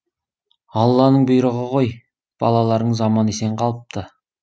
алланың бұйрығы ғой балаларыңыз аман есен қалыпты